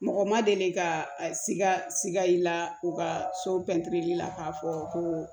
Mɔgɔ ma deli ka siga siga i la u ka so pɛntiri la k'a fɔ ko